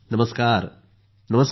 नमस्कार सर ।